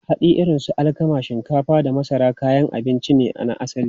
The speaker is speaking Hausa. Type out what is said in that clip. Hatsi irin su alkama, shinkafa, da masara kayan abinci ne na asali.